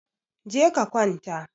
Je ka kwanta